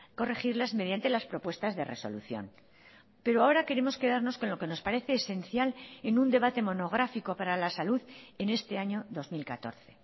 corregirlas mediante las propuestas de resolución pero ahora queremos quedarnos con lo que nos parece esencial en un debate monográfico para la salud en este año dos mil catorce